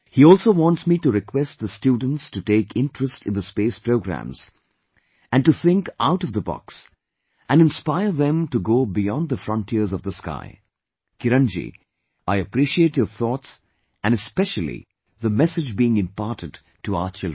He also wants me to request the students to take interest in the space programs and to think out of the box and inspire them to go beyond the frontiers of the sky Kiran ji, I appreciate your thoughts and especially the message being imparted to our children